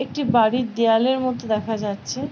একটি বাড়ির দেয়ালের মতো দেখা যাচ্ছে।